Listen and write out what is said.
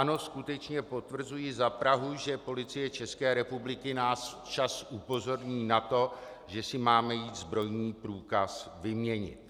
Ano, skutečně potvrzuji za Prahu, že Policie České republiky nás včas upozorní na to, že si máme jít zbrojní průkaz vyměnit.